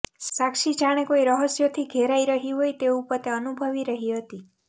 સાક્ષી જાણે કોઈ રહસ્યોથી ઘેરાય રહી હોય તેવું પોતે અનુભવી રહી હતી